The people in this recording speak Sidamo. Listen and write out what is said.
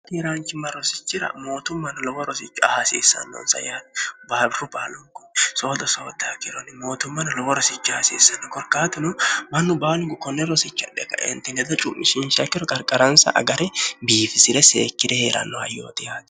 haaniraanchimma rosichira mootummanna lowo rosicho hasiissannonsa yaai baabiru baalungu soodo sootto hakironni mootummanno lowo rosichi haasiissanno korkaatuno mannu baalungu konne rosicha dhe kaentineda cuu'mishinchakiro qarqaransa agari biifisi're seekkire hee'rannoha yoodihaati